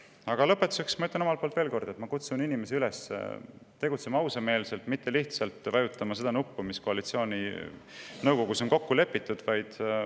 Aga lõpetuseks ma ütlen veel kord, et ma kutsun inimesi üles tegutsema ausameelselt ja mitte vajutama seda nuppu, mis koalitsiooninõukogus on kokku lepitud.